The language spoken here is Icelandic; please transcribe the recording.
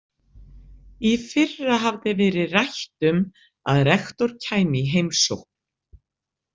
Í fyrra hafði verið rætt um að rektor kæmi í heimsókn.